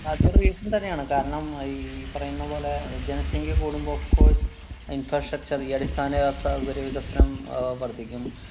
അത് ഒരു reason തന്നെയാണ്. കാരണം അഹ് ഈ പറയുന്നപോലെ ജനസംഖ്യ കൂടുമ്പോ of course infrastructure ഈ അടിസ്ഥാന വ്യവസ്ഥ ഒരു വികസനം അഹ് വര്‍ദ്ധിക്കും.